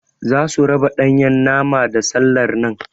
Zasu raba Ɗanyan nama da sallar nan.